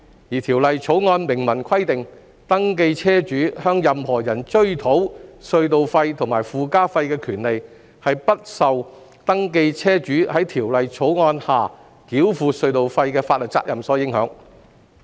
而《條例草案》明文規定，登記車主向任何人追討隧道費和附加費的權利不受登記車主在《條例草案》下繳付隧道費的法律責任所影響。